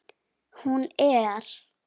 Hún er.